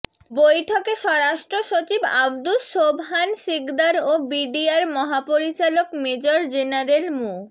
বৈঠকে স্বরাষ্ট্র সচিব আব্দুস সোবহান শিকদার ও বিডিআর মহাপরিচালক মেজর জেনারেল মো